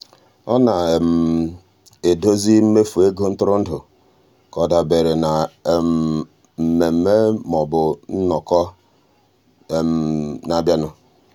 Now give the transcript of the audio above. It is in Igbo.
ọ na-edozi mmefu ego ntụrụndụ ka ọ dabere na um mmemme maọbụ nnọkọ na-abịanụ.